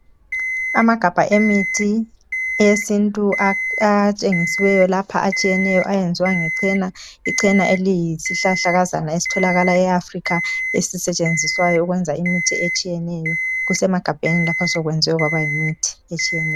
Amagabha emithi yesintu atshengisiweyo lapha atshiyeneyo ayenziwa ngecena, icena eliyisihlahlakazana esitholakala e Africa esisetshenziswayo ukwenza imithi etshiyeneyo. Kusemagabheni lapha sekwewe kwaba yimithi etshiyeneyo.